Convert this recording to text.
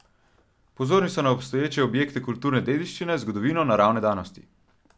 Pozorni so na obstoječe objekte kulturne dediščine, zgodovino, naravne danosti.